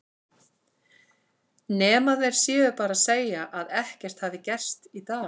Nema þeir séu bara að segja að ekkert hafi gerst í dag.